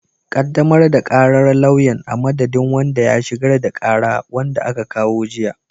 Ƙaddamar da ƙarar lauyan, a madadin wanda ya shigar da ƙara, wanda aka kawo jiya.